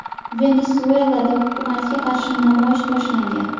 Venesuelada hukumatga qarshi namoyish boshlangan.